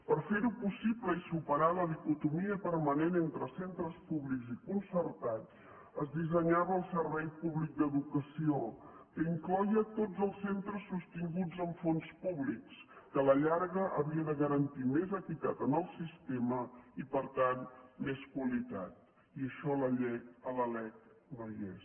per ferho possible i superar la dicotomia permanent entre centres públics i concertats es dissenyava el servei públic d’educació que incloïa tots els centres sostinguts amb fons públics que a la llarga havia de garantir més equitat en el sistema i per tant més qualitat i això a la lec no hi és